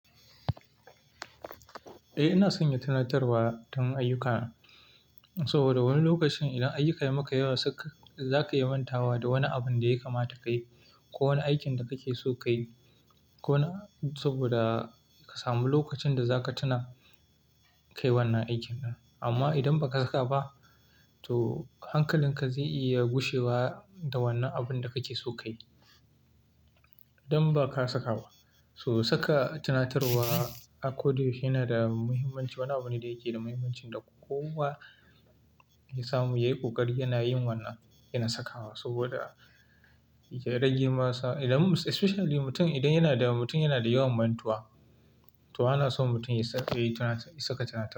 Eh, ina sanya tunatarwa ta mun ayyuka saboda wani lokacin idan ayyuka ya maka yawa, zaka iya mantawa da wani abun da ya kamata ka yi ko wani aikin da kake so ka yi ko na saboda ka samu lokacin da zaka tuna ka yi wannan aikin din. Amma idan baka haka ba, to hankalin ka zai iya gushewa da wannan abun da kake so ka yi idan ba ka saka ba. To saka tunatarwa a ko da yaushe yana da muhimmanci. Wani abu ne da yake da muhimmanci da kowa ya samu. Yayi ƙoƙari yana yin wannan yana sakawa saboda ya rage masa, idan mus especially mutum idan yana da mutum yana da yawan mantuwa, to ana son mutum ya sa yayi ta saka tunat.